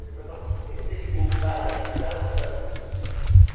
Aí você vai falar, mas por que você ligou o cara esse cara à ditadura?